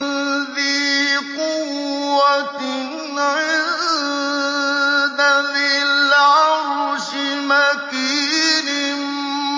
ذِي قُوَّةٍ عِندَ ذِي الْعَرْشِ مَكِينٍ